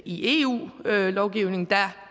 i eu lovgivning der